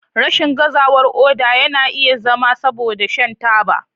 Rashin gazawar koda yana iya zama saboda shan taba.